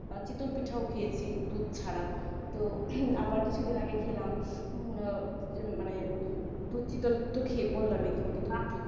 শীতল পিঠাও খেয়েছি দুধ ছাড়া আবার কিছুদিন আগেই খেলাম মানে উম দুধশীতল তো বললামই তোমাকে